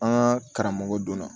An ka karamɔgɔ donna